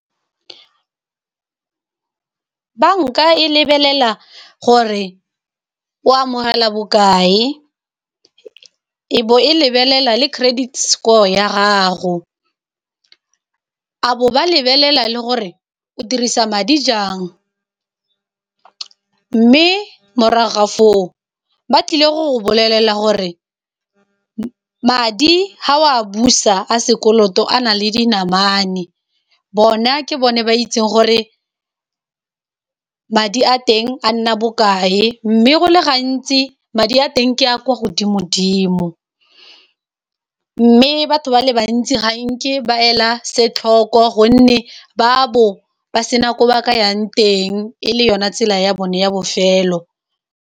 Banka e lebelela gore o amogela bokae e bo e lebelela le credit score ya gago, abo ba lebelela le gore o dirisa madi jang, mme morago ga foo ba tlile go bolelela gore madi ga o a busa a sekoloto a na le dinamane bona ke bone ba itseng gore madi a teng a nna bokae, mme go le gantsi madi a teng ke a kwa godimo dimo, mme batho ba le bantsi ga nke ba ela setlhogo gonne ba bo ba sena gore ba ka yang teng ele yona tsela ya bone ya bofelo.